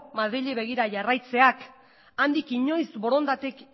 madrili begira jarraitzeak handik inoiz borondaterik